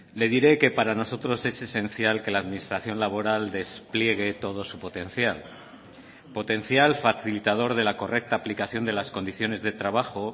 le diré que para nosotros es esencial que la administración laboral despliegue todo su potencial potencial facilitador de la correcta aplicación de las condiciones de trabajo